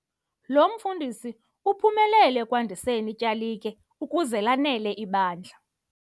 Lo mfundisi uphumelele ekwandiseni ityalike ukuze lanele ibandla.